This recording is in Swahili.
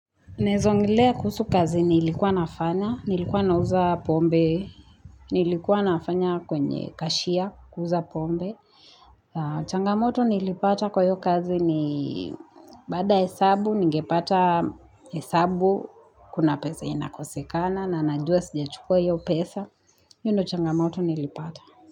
Naweza ongelea kuhusu kazi nilikuwa nafanya, nilikuwa nauza pombe, nilikuwa nafanya kwenye kashia, kuuza pombe. Changamoto nilipata kwa hiyo kazi ni baada hesabu, ningepata hesabu, kuna pesa, inakosekana, na najua sijachukua hiyo pesa, hiyo ndio changamoto nilipata.